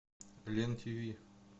лен тв